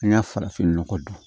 An ka farafinnɔgɔ dun